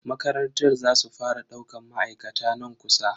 Makarantar za su fara daukan ma'aikata nan kusa.